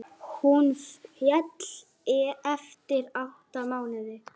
Katrín, María, Tryggvi og Arnar.